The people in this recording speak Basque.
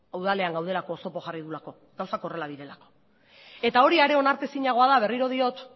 udalean gaudelako oztopo jarri dugulako gauzak horrela direlako eta hori ere onartu ezinagoa da berriro diot